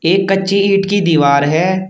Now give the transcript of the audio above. एक कच्ची ईंट की दीवार है।